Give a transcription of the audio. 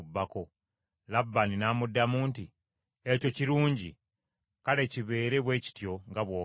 Labbaani n’amuddamu nti, “Ekyo kirungi. Kale kibeere bwe kityo nga bw’ogambye.”